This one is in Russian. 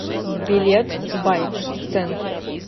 билет байк центр